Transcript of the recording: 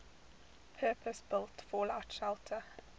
purpose built fallout shelter